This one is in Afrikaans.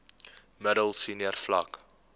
middel senior vlak